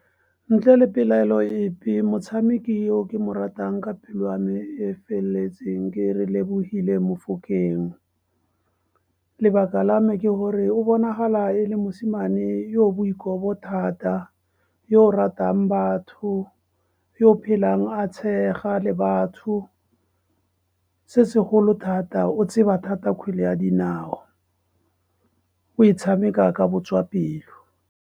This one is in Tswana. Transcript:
Ntle le pelaelo epe, motshameki o ke mo ratang ka pelo ya me e feleletseng ke Relebohile Mofokeng. Lebaka la me ke gore, o bonagala e le mosimane yo o boikobo thata, yo o ratang batho, yo o phelang a tshega le batho. Se segolo thata, o tseba thata kgwele ya dinao, o e tshameka ka botswapelo.